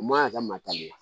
U man ka matarafa